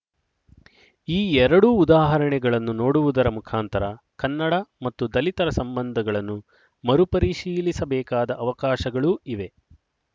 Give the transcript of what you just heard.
ಈ ಎರಡೂ ಉದಾಹರಣೆಗಳನ್ನು ನೋಡುವುದರ ಮುಖಾಂತರ ಕನ್ನಡ ಮತ್ತು ದಲಿತರ ಸಂಬಂಧಗಳನ್ನು ಮರುಪರಿಶೀಲಿಸಬೇಕಾದ ಅವಕಾಶಗಳು ಇವೆ